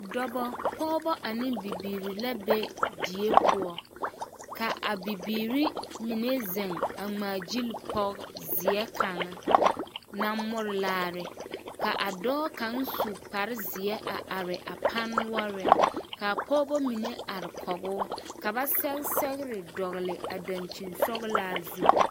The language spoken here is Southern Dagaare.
Dɔbɔ, Pɔgebɔ ane bibiiri la be die poɔ ka a bibiiri mine zeŋ a ŋmaa gili pɔge zeɛ kaŋa naŋ more laare ka a dɔɔ kaŋ su kpare zeɛ a are a pane noɔreŋ ka pɔgebɔ mine are kɔgoo ka ba sɛge sɛgere dɔgele a dankyinsɔgelaa zu.